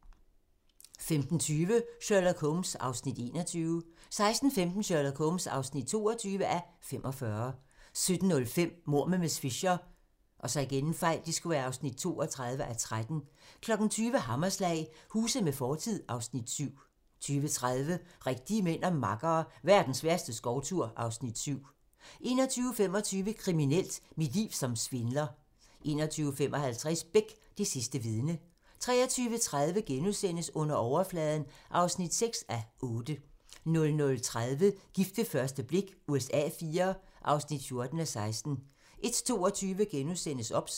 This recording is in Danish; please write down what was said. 15:20: Sherlock Holmes (21:45) 16:15: Sherlock Holmes (22:45) 17:05: Mord med miss Fisher (32:13) 20:00: Hammerslag - Huse med fortid (Afs. 7) 20:30: Rigtige mænd og makkere - Verdens værste skovtur (Afs. 7) 21:25: Kriminelt: Mit liv som svindler 21:55: Beck: Det sidste vidne 23:30: Under overfladen (6:8)* 00:30: Gift ved første blik USA IV (14:16) 01:22: OBS *